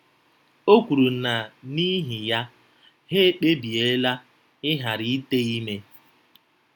O kwuru na n’ihi ya, ha ekpebiela ịghara ite ime.